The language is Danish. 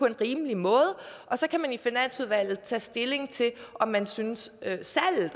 en rimelig måde og så kan man i finansudvalget tage stilling til om man synes at salget